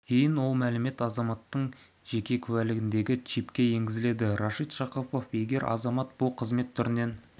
кейін ол мәлімет азаматтың жеке куәлігіндегі чипке енгізіледі рашид жақыпов егер азамат бұл қызмет түрінен